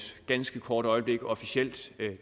ganske kort øjeblik officielt